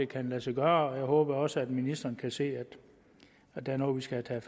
kan lade sig gøre og jeg håber også at ministeren kan se at det er noget vi skal have